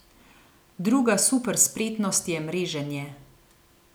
Druga super spretnost je mreženje.